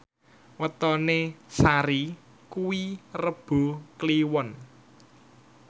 wetone Sari kuwi Rebo Kliwon